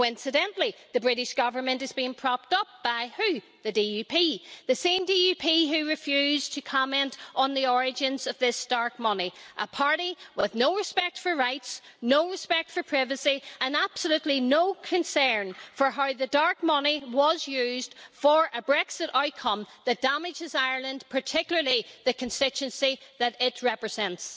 Coincidentally, the British Government is being propped up by whom? The DUP the same DUP who refused to comment on the origins of this dark money, a party with no respect for rights, no respect for privacy and absolutely no concern for how the dark money was used for a Brexit outcome that damages Ireland, particularly the constituency that it represents.